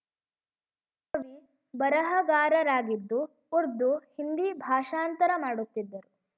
ಕವಿ ಬರಹಗಾರರಾಗಿದ್ದು ಉರ್ದು ಹಿಂದಿ ಭಾಷಾಂತರ ಮಾಡುತ್ತಿದ್ದರು